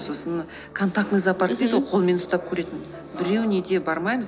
сосын контактный зоопарк дейді ғой мхм қолмен ұстап көретін біреуіне де бармаймыз